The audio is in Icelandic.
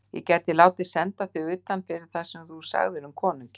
Ég gæti látið senda þig utan fyrir það sem þú sagðir um konunginn.